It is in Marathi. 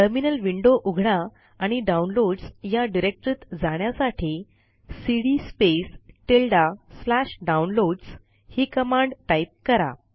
टर्मिनल विंडो उघडा आणि डाऊनलोडस या डिरेक्टरीत जाण्यासाठी सीडी Downloads ही कमांड टाईप करा